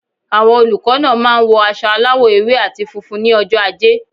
Àwon olùkó náà máa n wo aso aláwò ewé àti funfun ní ojó ajé